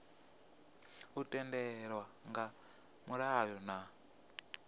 u tendelwa nga mulayo na